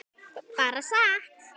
Bara sat.